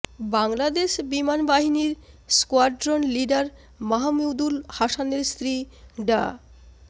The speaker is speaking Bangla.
বাংলাদেশ বিমান বাহিনীর স্কোয়াড্রন লিডার মাহমুদুল হাসানের স্ত্রী ডা